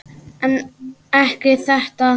En ekki þetta.